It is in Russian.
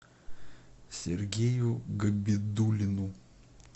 сергею габидуллину